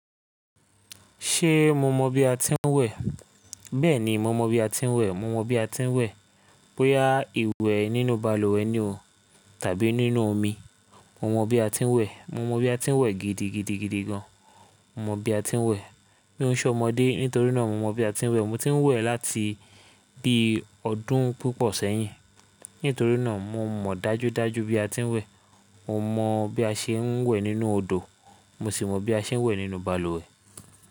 Ṣé mo mọ bí a ti ń wẹ̀? Bẹ́ẹ̀ni, mo mọ bí a ti ń wẹ̀. Mo mọ bí a ti ń wẹ̀. Bóyá ìwẹ̀ nínú balùwẹ̀ ni o tàbí nínú omi, mo mọ bí a ti ń wẹ̀. Mo mọ bí a ti ń wẹ̀ gidigidigidi gan. Mo mọ bí a ti ń wẹ̀. Mi o n sọ ọmọdé nítorínà mo mọ bí a tí ń wẹ̀. Mo ti n wẹ̀ láti bí ọdún púpọ̀ sẹ́yìn. Nítorínà mo mọ̀ dájúdájú bí a ti ń wẹ̀. Mo mọ bí a se n wẹ̀ nínú odò, mo sì mọ bí a ṣe n wẹ̀ nínú balùwẹ̀.